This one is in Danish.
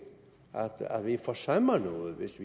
at vi forsømmer noget hvis